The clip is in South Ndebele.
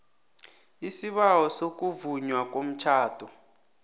isibawo sokuvunywa komtjhado